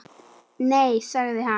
Nei sagði hann.